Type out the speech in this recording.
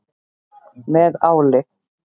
Með áli.